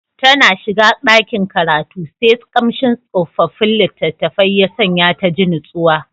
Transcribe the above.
Tana shiga dakin karatu sai kamshin tsofaffin litattafai ya sanya ta ji natsuwa.